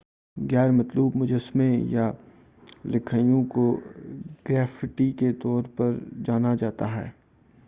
غیرمطلوب مجسمے یا لکھائیوں کو گریفٹی کے طور پر جانا جاتا ہے